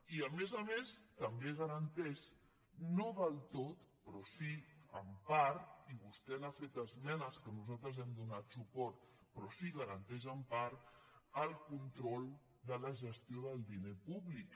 i a més a més també garanteix no del tot però sí en part i vostè n’ha fet esmenes que nosaltres hi hem donat suport el control de la gestió del diner públic